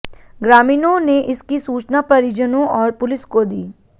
ग्रामीणों ने इसकी सूचना परिजनों और पुलिस को दी